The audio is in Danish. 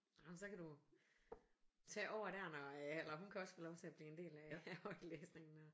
Nåh men så kan du tage over der når eller hun kan også få lov til at blive en del af af højtlæsningen når